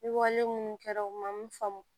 Ni wale minnu kɛra o ma mun faamu